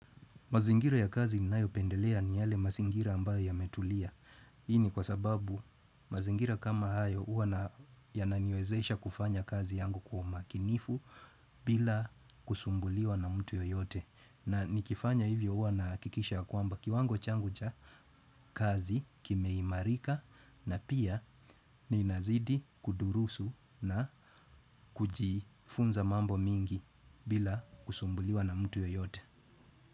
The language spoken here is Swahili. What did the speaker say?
Mazingira ya kazi ninayopendelea ni yale mazingira ambayo yametulia. Hii ni kwa sababu mazingira kama hayo huwa na yananiwezesha kufanya kazi yangu kwa umakinifu bila kusumbuliwa na mtu yoyote. Na nikifanya hivyo huwa nahakikisha ya kwamba kiwango changu cha kazi kimeimarika na pia ninazidi kudurusu na kujifunza mambo mingi bila kusumbuliwa na mtu yoyote.